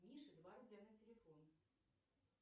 мише два рубля на телефон